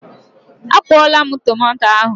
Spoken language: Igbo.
A kwụọla m tomato ahụ.